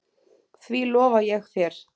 Því lofa ég þér